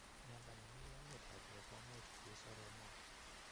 miondo nemii lolet ap beek komuuch koi soromook.